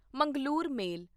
Mangalore ਮੇਲ